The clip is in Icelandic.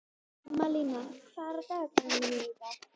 Malína, hvað er á dagatalinu mínu í dag?